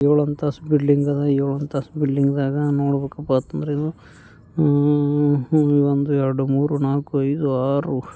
ಏಳು ಅಂತಸ್ತು ಬಿಲ್ಡಿಂಗ್ ದಾಗ ಏಳು ಅಂತಸ್ತು ಬಿಲ್ಡಿಂಗ್ ದಾಗ ನೋಡ್ಬೇಕು ಅಂತ ಅಂದ್ರಾ ಆ ಒಂದು ಎರಡು ಮುರು ನಾಲ್ಕು ಐದು ಆರು--